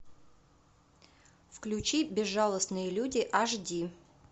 включи безжалостные люди аш ди